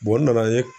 n nana ye